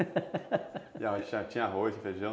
e tinha tinha arroz, feijão?